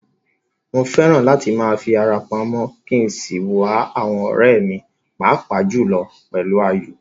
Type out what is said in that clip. Mo fẹ́ràn láti máa fi ara pamọ́ kí n sì wá àwọn ọ̀rẹ́ mi, pàápàá jùlọ pẹ̀lú Ayọ̀.